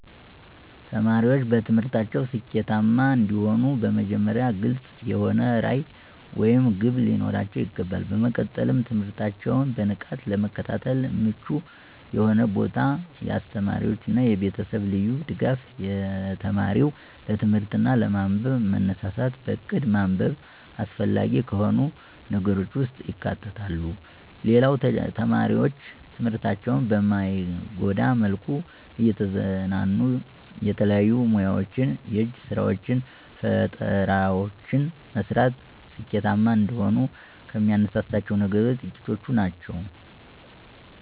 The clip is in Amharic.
ተማሪዎች በትምህርታቸው ስኬታማ እንዲሆኑ በመጀመሪያ ግልፅ የሆነ ራዕይ ወይም ግብ ሊኖራቸው ይገባል። በመቀጠልም ትምህርታቸውን በንቃት ለመከታተል ምቹ የሆነ ቦታ፣ የአስተማሪዎች እና የቤተሰብ ልዩ ድጋፍ፣ የተማሪው ለትምህርት እና ለማንበብ መነሳሳት፣ በእቅድ ማንበብ አስፈላጊ ከሆኑ ነገሮች ውስጥ ይካተታሉ። ሌላው ተማሪዎች ትምህርታቸውን በማይጎዳ መልኩ እየተዝናኑ የተለያዩ ሙያወችን፣ የእጅ ስራወችን፣ ፈጠራወችን መስራት ስኬታማ እንደሆኑ ከሚያነሳሳቸው ነገሮች ጥቂቶቹ ናቸው።